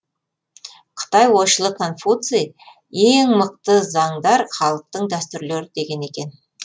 қытай ойшылы конфуций ең мықты заңдар халықтың дәстүрлері деген екен